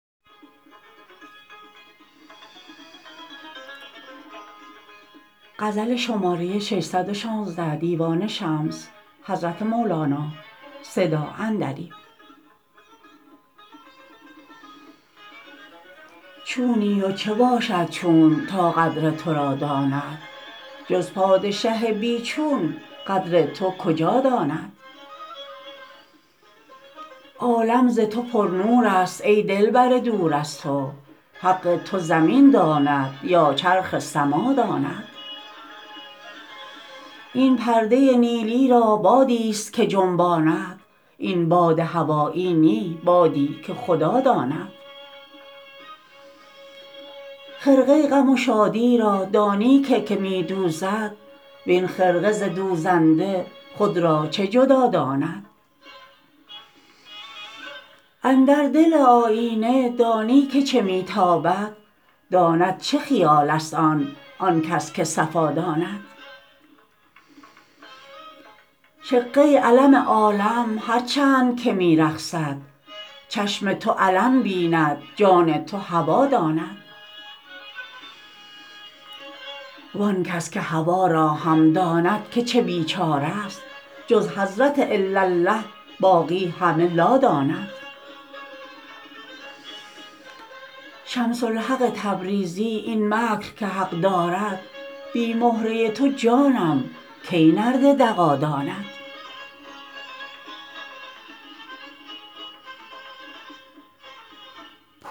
چونی و چه باشد چون تا قدر تو را داند جز پادشه بی چون قدر تو کجا داند عالم ز تو پرنور ست ای دلبر دور از تو حق تو زمین داند یا چرخ سما داند این پرده نیلی را بادی ست که جنباند این باد هوایی نی بادی که خدا داند خرقه غم و شادی را دانی که که می دوزد وین خرقه ز دوزنده خود را چه جدا داند اندر دل آیینه دانی که چه می تابد داند چه خیال است آن آن کس که صفا داند شقه علم عالم هر چند که می رقصد چشم تو علم بیند جان تو هوا داند وان کس که هوا را هم داند که چه بیچاره ست جز حضرت الاالله باقی همه لا داند شمس الحق تبریزی این مکر که حق دارد بی مهره تو جانم کی نرد دغا داند